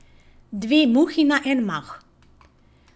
Dve muhi na en mah!